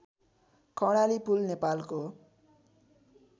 कर्णाली पुल नेपालको